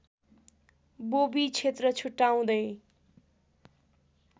बोबी क्षेत्र छुटाउँदै